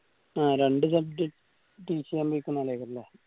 ആ രണ്ട്‌ subject teach എയ്യാൻ ആളായിക്കു ല്ലേ